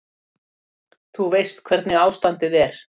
Þú veist hvernig ástandið er.